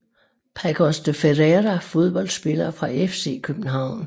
Paços de Ferreira Fodboldspillere fra FC København